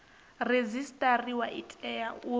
redzisiṱariwa i tea u vha